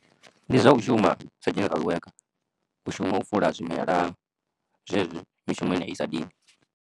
Ndi zwa u shuma sa general worker, u shuma u fula zwimela zwezwi mishumo yenei i sa dini.